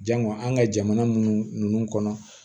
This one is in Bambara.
Jango an ka jamana minnu kɔnɔ